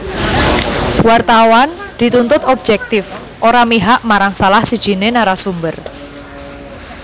Wartawan dituntut objektif ora mihak marang salah sijiné narasumber